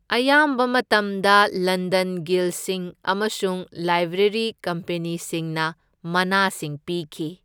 ꯑꯌꯥꯝꯕ ꯃꯇꯝꯗ ꯂꯟꯗꯟ ꯒꯤꯜꯁꯤꯡ ꯑꯃꯁꯨꯡ ꯂꯥꯏꯕ꯭ꯔꯦꯔꯤ ꯀꯝꯄꯦꯅꯤꯁꯤꯡꯅ ꯃꯅꯥꯁꯤꯡ ꯄꯤꯈꯤ꯫